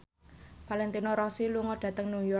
Valentino Rossi lunga dhateng York